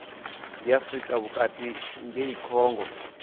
ndi afrika vhukati ngei congo